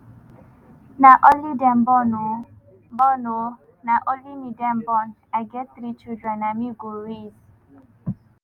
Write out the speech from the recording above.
"na only dem born oh born oh na only me dem born i get three children na me go raise